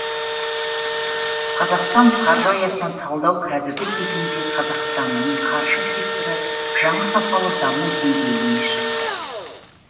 қазақстан қаржы аясына талдау қазіргі кезеңде қазақстанның қаржы секторы жаңа сапалы даму деңгейіне шықты